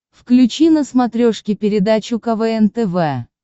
включи на смотрешке передачу квн тв